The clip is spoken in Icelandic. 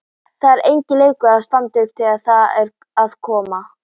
Það var enginn leikur að standa upp þegar þar að kom.